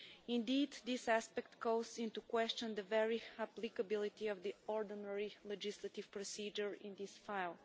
Indeed this aspect calls into question the very applicability of the ordinary legislative procedure in this file.